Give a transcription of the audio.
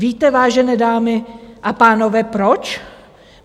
Víte, vážené dámy a pánové, proč?